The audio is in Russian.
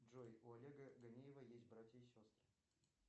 джой у олега ганеева есть братья и сестры